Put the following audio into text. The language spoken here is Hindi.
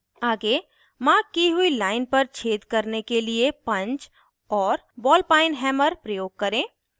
आगे मार्क की हुई लाइन पर छेद करने के लिए पन्च और बॉल पाइन हैमर प्रयोग करें